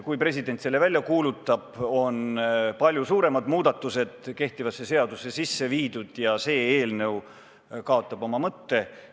Kui president selle välja kuulutab, on palju suuremad muudatused kehtivasse seadusesse sisse viidud ja see eelnõu kaotab oma mõtte.